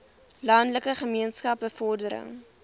landelike gemeenskappe bevordering